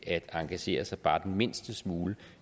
at engagere sig bare den mindste smule